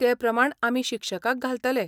ते प्रमाण आमी शिक्षकाक घालतले.